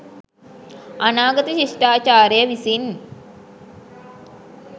අනාගත ශිෂ්ටාචාරය විසින්